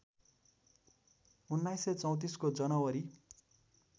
१९३४ को जनावरी